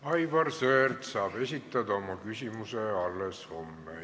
Aivar Sõerd saab esitada oma küsimuse alles homme.